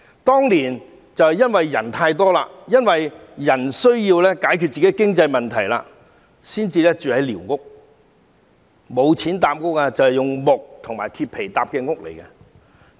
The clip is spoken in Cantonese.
當年是因為人口太多，市民需要解決本身的經濟問題才會住寮屋，他們當時沒有錢，便用木和鐵皮搭建寮屋。